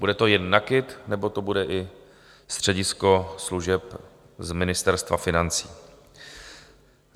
Bude to jen NAKIT, nebo to bude i středisko služeb z Ministerstva financí?